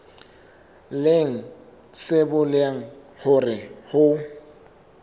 leng se bolelang hore ho